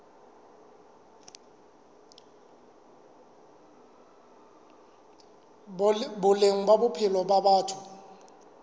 boleng ba bophelo ba batho